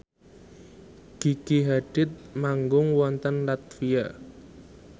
Gigi Hadid manggung wonten latvia